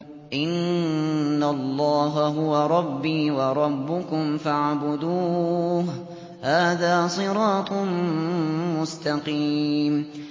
إِنَّ اللَّهَ هُوَ رَبِّي وَرَبُّكُمْ فَاعْبُدُوهُ ۚ هَٰذَا صِرَاطٌ مُّسْتَقِيمٌ